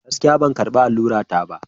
Gaskiya! Ban karɓi allura ta ba.